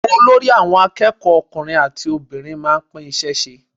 Olórí àwọn akẹ́kọ̀ọ́ ọkùnrin àti obìnrin máa ń pín iṣẹ́ ṣe.